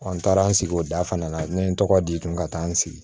n taara n sigi o da fana na ne ye n tɔgɔ di kun ka taa n sigi